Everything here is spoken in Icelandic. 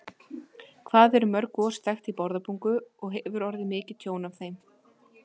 Hvað eru mörg gos þekkt í Bárðarbungu og hefur orðið mikið tjón af þeim?